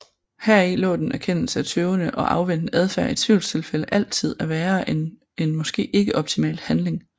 Heri lå den erkendelse af tøvende og afventende adfærd i tvivlstilfælde altid er værre end en måske ikke optimal handling